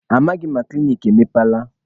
Amaghị m ma klinik emepeela.